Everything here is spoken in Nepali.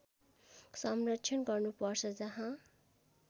संरक्षण गर्नुपर्छ जहाँ